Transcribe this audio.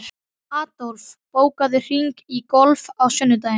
Adolf, bókaðu hring í golf á sunnudaginn.